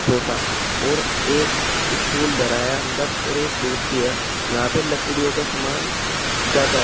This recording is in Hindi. छोटा और एक स्टूल धरा है अंदर और एक कुर्सी है यहां पर लकड़ियों का सामान ज्यादा है।